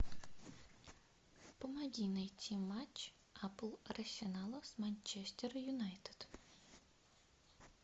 помоги найти матч апл арсенала с манчестер юнайтед